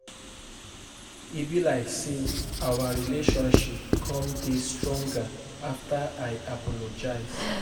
E be like say our relationship come dey stronger after I apologize